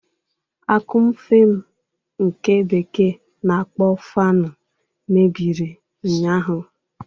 Akụmfe m, nke bekee na-akpọ fanụ, mebiri ụnyaahụ.